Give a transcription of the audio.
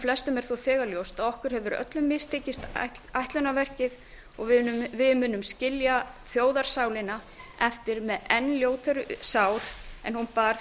flestum er þegar ljóst að okkur hefur öllum mistekist ætlunarverkið og við munum skilja þjóðarsálina eftir með enn ljótari sár en hún bar